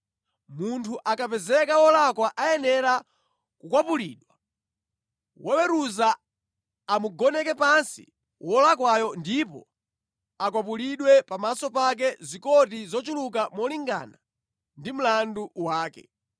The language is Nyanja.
Munthu akapezeka wolakwa ayenera kukwapulidwa, woweruza amugoneke pansi wolakwayo ndipo akwapulidwe pamaso pake zikoti zochuluka molingana ndi mlandu wake,